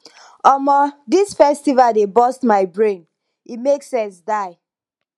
omo dis festival dey burst my brain e make sense die